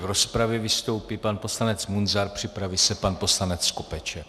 V rozpravě vystoupí pan poslanec Munzar, připraví se pan poslanec Skopeček.